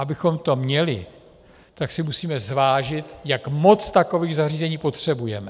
Abychom to měli, tak si musíme zvážit, jak moc takových zařízení potřebujeme.